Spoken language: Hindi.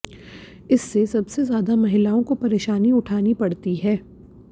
इससे सबसे ज्यादा महिलाओं को पेरशानी उठानी पड़ती है